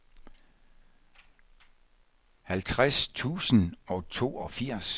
halvtreds tusind og toogfirs